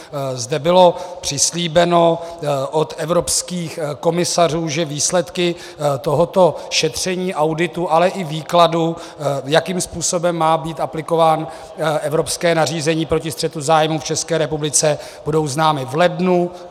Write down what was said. Zde bylo přislíbeno od evropských komisařů, že výsledky tohoto šetření, auditu, ale i výkladu, jakým způsobem má být aplikováno evropské nařízení proti střetu zájmů v České republice, budou známy v lednu.